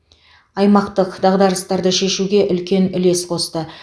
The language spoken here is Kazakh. аймақтық дағдарыстарды шешуге үлкен үлес қосты